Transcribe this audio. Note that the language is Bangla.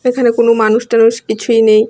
এখানে কোন মানুষ টানুষ কিছুই নেই।